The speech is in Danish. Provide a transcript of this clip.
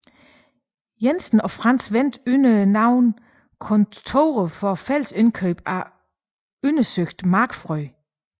Jensen og Frantz Wendt under navnet Kontoret for Fællesindkøb af undersøgt Markfrø